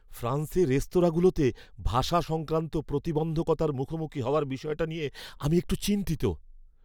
ফ্রান্সে রেস্তোরাঁগুলোতে ভাষা সংক্রান্ত প্রতিবন্ধকতার মুখোমুখি হওয়ার বিষয়টা নিয়ে আমি একটু চিন্তিত।